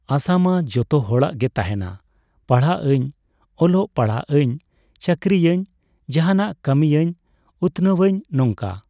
ᱟᱥᱟ ᱢᱟ ᱡᱚᱛᱚ ᱦᱚᱲᱟᱜ ᱜᱮ ᱛᱟᱦᱮᱱᱟ, ᱯᱟᱲᱦᱟᱜ ᱟᱹᱧ, ᱚᱞᱚᱜ ᱯᱟᱲᱦᱟᱜ ᱟᱹᱧ, ᱪᱟᱹᱠᱨᱤᱭᱟᱹᱧ᱾ ᱡᱟᱦᱟᱱᱟᱜ ᱠᱟᱹᱢᱤᱹᱭᱟᱹᱧ, ᱩᱛᱱᱟᱹᱣᱟᱹᱧ ᱱᱚᱝᱠᱟ᱾